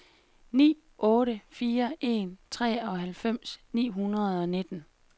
ni otte fire en treoghalvfems ni hundrede og nitten